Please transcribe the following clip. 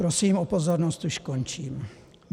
- Prosím o pozornost, už končím.